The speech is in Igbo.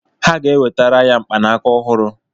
Ha ga-ewetara ya mkpanaka ọhụrụ.